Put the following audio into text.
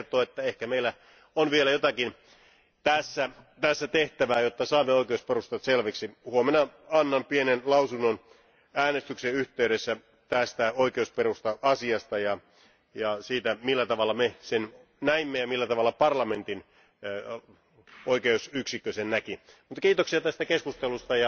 Tämä kertoo, että ehkä meillä on vielä tässä tehtävää, jotta saamme oikeusperustat selviksi. Huomenna annan pienen lausunnon äänestyksen yhteydessä tästä oikeusperusta asiasta ja siitä, millä tavalla me sen näimme ja millä tavalla parlamentin oikeusyksikkö sen näki. Kiitoksia tästä keskustelusta.